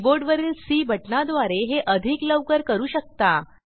कीबोर्डवरील सी बटणाद्वारे हे अधिक लवकर करू शकता